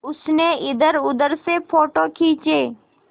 उसने इधरउधर से फ़ोटो खींचे